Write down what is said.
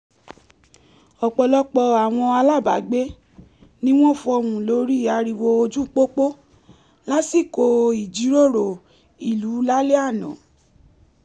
ọpọlọpọ àwọn alábàágbé ní wọ́n fọhùn lórí ariwo ojú pópó lásìkò ìjíròrò ìlú lálẹ́ àná